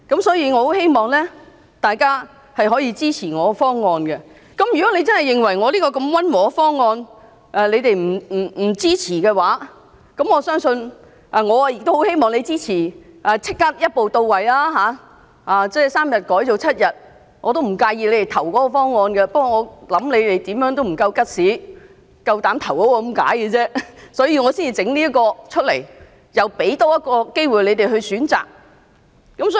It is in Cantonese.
所以，我很希望大家可以支持我的修正案，而如果你們認為我這項如此溫和的修正案也無法支持，我也很希望你們會支持立即一步到位，把3天增至7天，我不介意大家投票支持該方案的，但我相信你們沒有 guts， 敢投票支持它，所以我才會提出這修正案，多給你們一個選擇的機會。